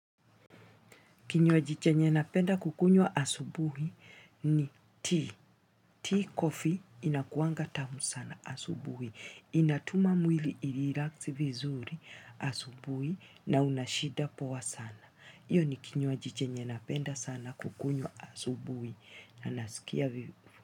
Kinywajiche nye napenda kukunywa asubuhi ni tea. Tea coffee inakuanga tamu sana asubuhi. Inatuma mwili irelax vizuri asubuhi na unashida poa sana. Hiyo ni kinywajiche nye napenda sana kukunywa asubuhi. Na nasikia vipu.